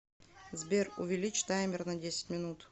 сбер увеличь таймер на десять минут